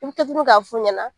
n tɛ k'a f'u ɲɛna.